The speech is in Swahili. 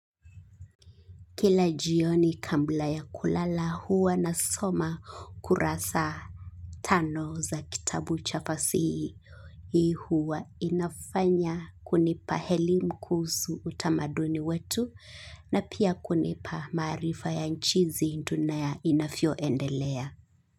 Kila jioni kabla ya kulala huwa nasoma kurasa tano za kitabu cha fasihi. Hii huwa inafanya kunipa elimu kuhusu utamaduni wetu na pia kunipa maarifa ya jinsi dunia inavyoendelea.